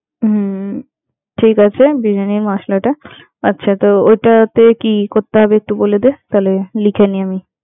হম ঠিক আছে, বিরিয়ানির মশলাটা, আচ্ছা তো ওটাতে কি করতে হবে একটু বলে দেয়, তাহলে লিখে নি আমি।